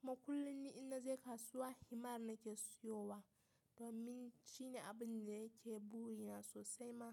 Kuma kullum ni in naje kasuwa himar nake siyowa. Domin shine abin da yake burina sosai ma.